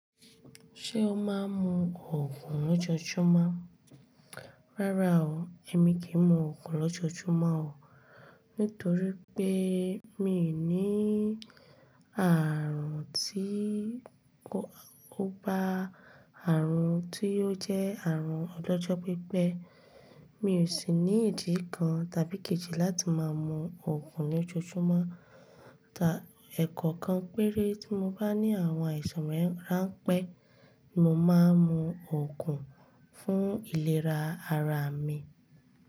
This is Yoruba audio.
Ṣé o máa ń mu òògùn lójoojúmọ́? Rárá o, èmi kì í mu òògùn lójoojúmọ́ o, nítorí pé mi n ní àrùn tí kò kòbá àrùn tí ó jẹ́ àrùn ọlọ́jọ́ pípẹ́. Mi ò sì ní ìdí kan tàbí kejì láti máa mu òògùn lójoojúmọ́. Ẹ̀kọ̀kan péré tí mo bá ní àwọn àìsàn ràn pẹ́, mo máa ń mu òògùn fún ìlera ara mi.